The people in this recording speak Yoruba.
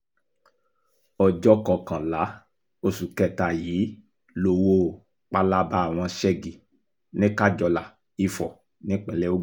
ọjọ́ kọkànlá oṣù kẹta yìí lowó palaba wọn ségi ní kájọlà ìfọ̀ nípínlẹ̀ ogun